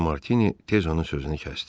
deyə Martini tez onun sözünü kəsdi.